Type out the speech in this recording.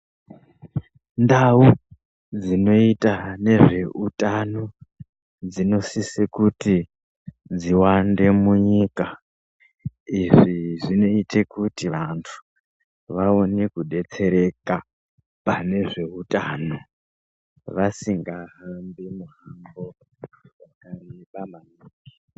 Ndau dzinoita nezveutano dzinosise kuti dziwande munyika. Izvi zvinoite kuti vantu vaone kubetsereka panezveutano vasinga hambi muhambo vakareba maningi.